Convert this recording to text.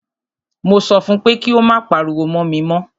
Mo sọ fún pé kí o má pariwo mọ́ mi mọ́!